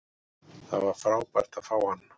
Það var frábært að fá hann.